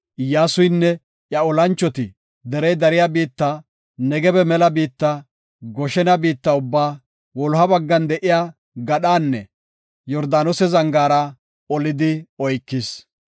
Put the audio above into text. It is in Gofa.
Iyyasuynne iya olanchoti derey dariya biitta, Negebe mela biitta, Goshena biitta ubbaa, wuloha baggan de7iya gadhaanne Yordaanose zangaara olidi oykis.